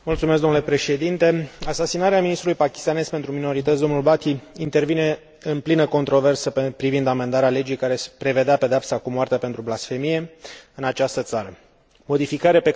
Asasinarea ministrului pakistanez pentru minorități, dl Bhati, intervine în plină controversă privind amendarea legii care prevedea pedeapsa cu moartea pentru blasfemie în această țară, modificare pe care acesta o susținea.